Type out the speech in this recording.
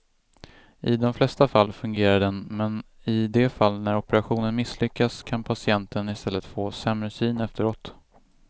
I de flesta fall fungerar den men i de fall när operationen misslyckas kan patienten i stället få sämre syn efteråt.